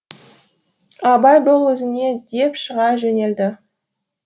абай бол өзіңе деп шыға жөнелді